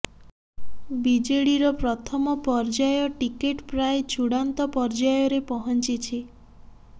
ବିଜେଡିର ପ୍ରଥମ ପର୍ଯ୍ୟାୟ ଟିକେଟ ପ୍ରାୟ ଚୂଡ଼ାନ୍ତ ପର୍ଯ୍ୟାୟରେ ପହଞ୍ଚିଛି